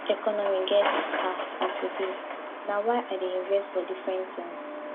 dis economy get um as e be na why i dey invest for different tins